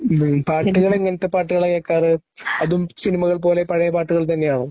പാട്ടുകൾ എങ്ങനെത്തെ പാട്ടുകളാ കേൾക്കാറ് അതും സിനിമകൾ പോലെ പഴയ പാട്ടുകൾ തന്നെയാണോ?